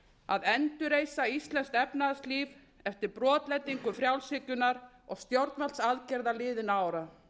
að endurreisa íslenskt efnahagslíf eftir brotlendingu frjálshyggjunnar og stjórnvaldsaðgerða liðinna ára